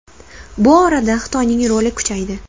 Bu orada Xitoyning roli kuchaydi.